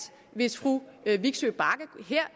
hvis fru vigsø bagge her